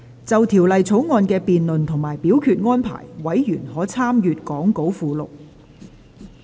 就《條例草案》的辯論及表決安排，委員可參閱講稿附錄。